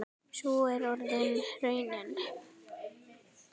Sú er orðin raunin.